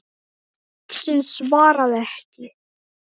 Uxinn svaraði ekki.